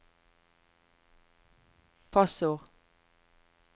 passord